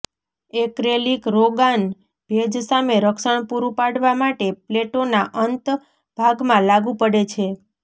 acrylic રોગાન ભેજ સામે રક્ષણ પૂરુ પાડવા માટે પ્લેટો ના અંત ભાગમાં લાગુ પડે છે